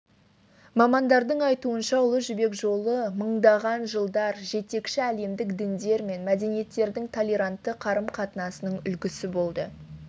мамандардың айтуынша ұлы жібек жолы мыңдаған жылдар жетекші әлемдік діндер мен мәдениеттердің толерантты қарым-қатынасының үлгісі болды